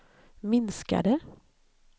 minskade